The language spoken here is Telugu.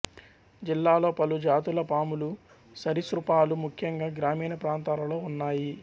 జిల్లాలో పలు జాతుల పాములు సరీసృపాలు ముఖ్యంగా గ్రామీణప్రాంతాలలో ఉన్నాయి